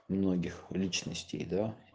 многих личностей да